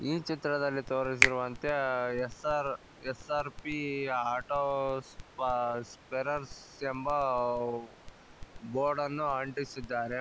ಈ ಚಿತ್ರದಲ್ಲಿ ತೋರಿಸಿರುವಂತೆ ಎಸ್_ಆರ್ ಎಸ್_ಆರ್_ಪಿ ಆಟೋ ಸ್ಪ ಸ್ಪೇರ್ರ್ಸ್ ಎಂಬ ಬೋರ್ಡನ್ನು ಅಂಟಿಸಿದ್ದಾರೆ.